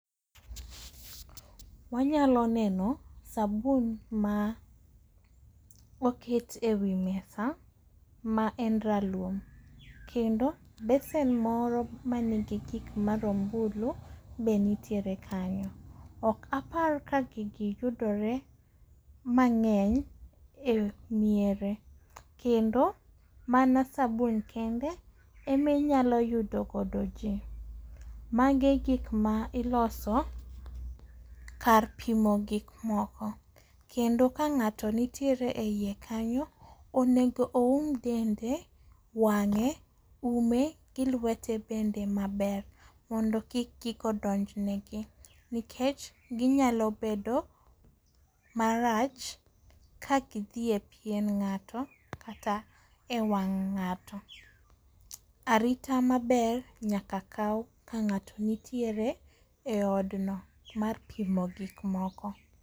wanyalo neno sabun ma oket e wi mesa ma en ralum, kendo besen moro manigi gik marombulu be nitiere kanyo, ok apar ka gigi yudore mang'eny e miere kendo mana sabun kende eminyalo yudo godo ji. Magi gik ma iloso kar pimo gikmoko kendo ka ng'ato nitiere e iye kanyo, onego oum dende, wang'e ume gi lwete bende maber mondo kik gigo donj negi nikech ginyalo bedo marach ka gidhi e pien ng'ato kata e wang' ng'ato. Arita maber nyaka kaw ka ng'ato nitiere e odno mar pimo gikmoko.